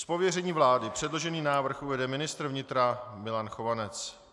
Z pověření vlády předložený návrh uvede ministr vnitra Milan Chovanec.